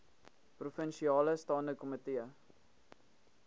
provinsiale staande komitee